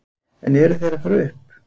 En eru þeir að fara upp?